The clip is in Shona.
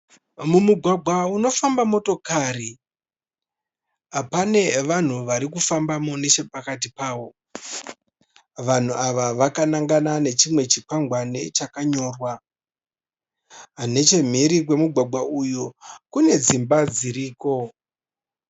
Mumugwagwa unofamba motokari pane vanhu varikufambamo neche pakati pawo. Vanhu ava vakanangana nechimwe chi kwangwani chakanyorwa. Nechemhiri kwemugwagwa uyu kune dzimba dziriko.